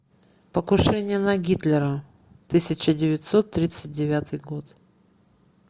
покушение на гитлера тысяча девятьсот тридцать девятый год